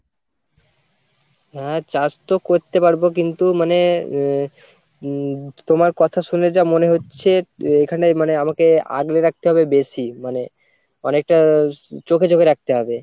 হ্যাঁ চাষ তো করতে পারবো কিন্তু মানে হম হম তোমার কথা শুনে যা মনে হচ্ছে হম এখানে মানে আমাকে আগলে রাখতে হবে বেশি মানে অনেকটা চোখে চোখে রাখতে হবে।